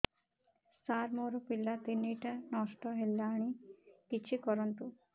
ସାର ମୋର ପିଲା ତିନିଟା ନଷ୍ଟ ହେଲାଣି କିଛି କରନ୍ତୁ